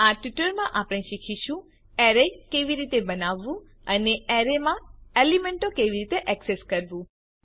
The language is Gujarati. આ ટ્યુટોરીયલમાં આપણે શીખીશું એરે કેવી રીતે બનાવવું અને એરે માં એલીમેન્ટો કેવી રીતે એક્સેસ કરવું